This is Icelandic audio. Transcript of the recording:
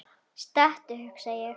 Stattu, hugsa ég.